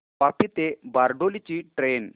वापी ते बारडोली ची ट्रेन